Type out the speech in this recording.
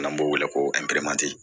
N'an b'o wele ko